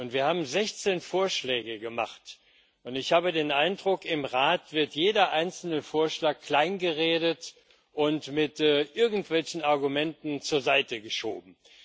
Wir haben 16 Vorschläge gemacht, und ich habe den Eindruck, im Rat wird jeder einzelne Vorschlag kleingeredet und mit irgendwelchen Argumenten zur Seite geschoben.